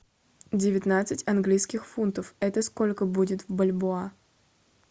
девятнадцать английских фунтов это сколько будет в бальбоа